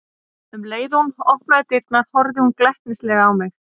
Um leið og hún opnaði dyrnar horfði hún glettnislega á mig.